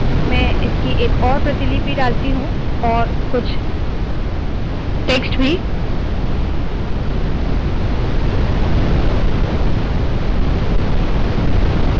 मैं इसकी एक और प्रतिलिपि डालती हूँ और कुछ और टेक्स्ट भी